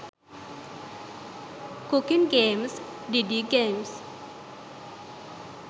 cooking games didi games